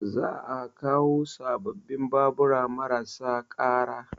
Za a kawo sababbin babura marasa ƙara